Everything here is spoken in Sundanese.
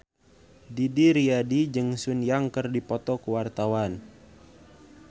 Didi Riyadi jeung Sun Yang keur dipoto ku wartawan